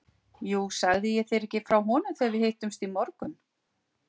Jú, sagði ég þér ekki frá honum þegar við hittumst í morgun?